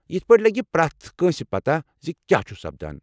یتھ پٲٹھۍ لگہِ پرٮ۪تھ کٲنٛسہ پتاہ زِ کیٚا چھُ سپدان۔